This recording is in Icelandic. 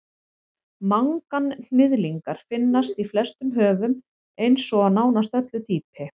manganhnyðlingar finnast í flestum höfum heims og á nánast öllu dýpi